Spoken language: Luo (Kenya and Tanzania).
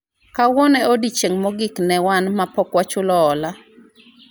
kawuono e odiochieng' mogik ne wan mapok wachulo hola